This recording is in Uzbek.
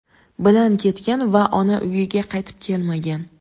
bilan ketgan va ona uyiga qaytib kelmagan.